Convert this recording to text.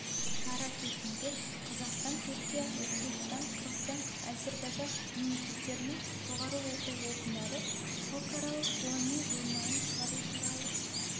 шара кезінде қазақстан түркия өзбекстан қырғызстан әзербайжан мемлекеттерінің жоғарғы оқу орындары халықаралық ғылыми журналын шығару туралы